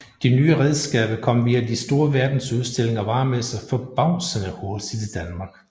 De nye redskaber kom via de store verdensudstillinger og varemesser forbavsende hurtigt til Danmark